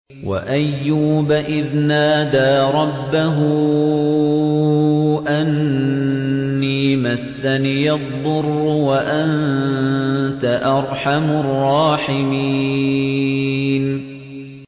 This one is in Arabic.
۞ وَأَيُّوبَ إِذْ نَادَىٰ رَبَّهُ أَنِّي مَسَّنِيَ الضُّرُّ وَأَنتَ أَرْحَمُ الرَّاحِمِينَ